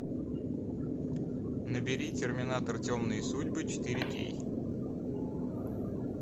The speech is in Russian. набери терминатор темные судьбы четыре кей